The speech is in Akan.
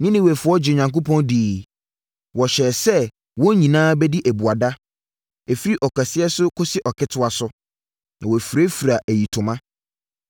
Ninewefoɔ gyee Onyankopɔn diiɛ. Wɔhyɛɛ sɛ wɔn nyinaa bɛdi abuada, ɛfiri ɔkɛseɛ so kɔsi ɔketewa so, na wɔafirafira ayitoma.